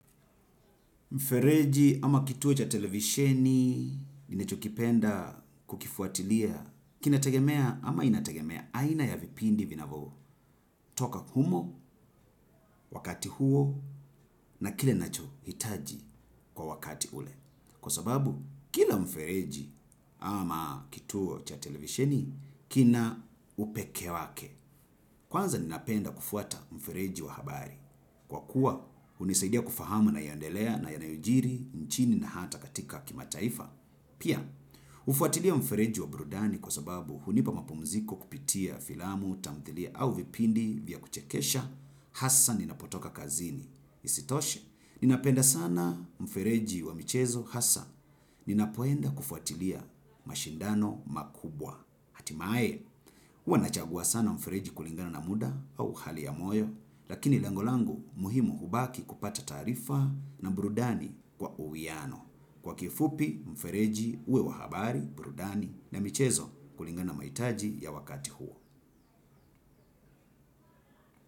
Mfereji ama kituo cha televisheni, ninacho kipenda kukifuatilia, kina tegemea ama inategemea aina ya vipindi vinavo, toka humo, wakati huo na kile ninacho hitaji kwa wakati ule. Kwa sababu, kila mfereji ama kituo cha televishini, kina upeke wake. Kwanza ninapenda kufuata mfereji wa habari. Kwa kuwa, hunisaidia kufahamu yanayo endelea na yanayojiri, nchini na hata katika kimataifa. Pia, hufuatilia mfereji wa burudani kwa sababu, hunipa mapumziko kupitia filamu, tamthilia au vipindi vya kuchekesha, hasa ninapotoka kazini. Isitoshe, ninapenda sana mfereji wa michezo hasa. Ninapoenda kufuatilia mashindano makubwa. Hatimae, uwa nachagua sana mfereji kulingana na muda au hali ya moyo, lakini lengo langu muhimu hubaki kupata taarifa na burudani kwa uwiano. Kwa kifupi mfereji uwe wa habari, burudani na michezo kulingana na maitaji ya wakati huo.